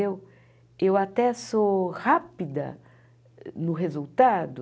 Eu eu até sou rápida no resultado.